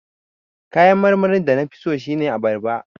Kayan marmarin da na fi so shine abarba.